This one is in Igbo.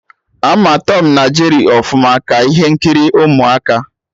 Ama Tọm na Jeri ọfụma, ka ihe nkiri ụmụaka